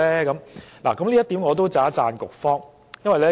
就此，我要稱讚局方。